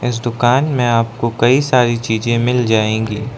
इस दुकान मैं आपको कई सारी चीजे मिल जाएगी।